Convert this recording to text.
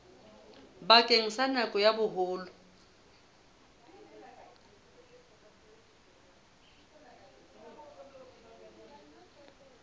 bakeng sa nako ya boholo